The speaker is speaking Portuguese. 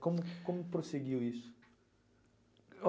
Como como prosseguiu isso?